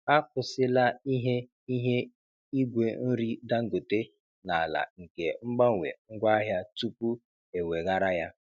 Akwụsịla ihe ihe igwe nri Dangote n'ala nke mgbanwe ngwaahịa tupu eweghara ya.